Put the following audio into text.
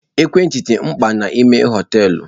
Ekwentị dị mkpa n'ime hoteelu.